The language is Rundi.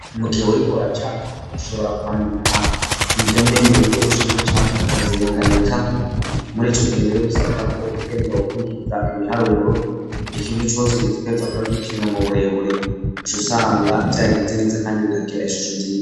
Mugihe urigora capa ushobora kwandika indome mu buryo bushinze cane akazihengamika muri ico giherero bisabwa ko utegereza gukurikiza ibiharuro ikintu cose kereza kuba g'ipima mu burebure shusanga vyagenze neza kandi bikagira ishusho nziza.